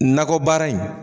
Nakɔ baara in.